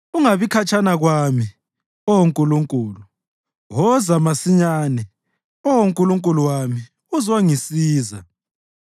Ungabi khatshana kwami, Oh Nkulunkulu; woza masinyane, Oh Nkulunkulu wami, uzongisiza.